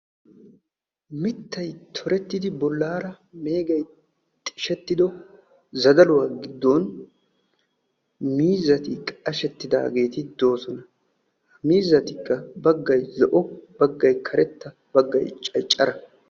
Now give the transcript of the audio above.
mittay tohettidi bollaara meegay xishettido zadaluwaa giddon miizati qashettidaageeti doosona ha miizatikka baggay zo''o baggay karetta baggay caccara